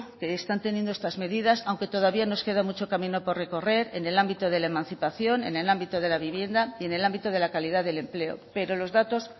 que están teniendo estas medidas aunque todavía nos queda mucho camino por recorrer en el ámbito de la emancipación en el ámbito de la vivienda y en el ámbito de la calidad del empleo pero los datos